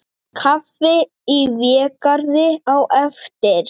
Kaffi í Végarði á eftir.